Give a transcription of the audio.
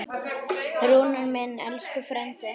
Rúnar minn, elsku frændi.